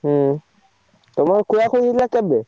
ହୁଁ ତମ ଖୋଳାଖୋଳି ହେଇଥିଲା କେବେ?